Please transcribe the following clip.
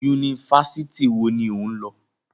Yunifásítì wo ni o lọ?